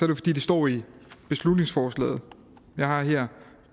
jo fordi det står i beslutningsforslaget jeg har her